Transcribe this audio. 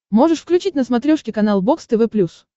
можешь включить на смотрешке канал бокс тв плюс